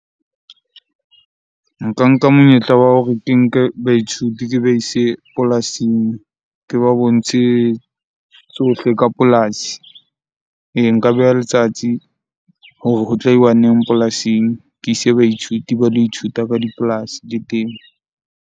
Nka nka monyetla wa hore ke nke baithuti ke ba ise polasing. Ke ba bontshe tsohle ka polasi. Nka beha letsatsi hore ho tlo iwa neng polasing ke ise baithuti ba lo ithuta ka dipolasi .